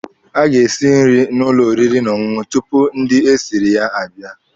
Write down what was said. A ga-esi nri n'ụlọ oriri na ọṅụṅụ tupu ndị esiri ya abịa.